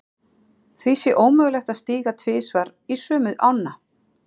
Því sé ómögulegt að stíga tvisvar í sömu ána.